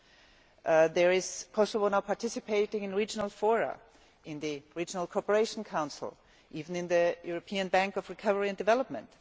Kosovo is now participating in regional fora in the Regional Cooperation Council, and even in the European Bank of Recovery and Development.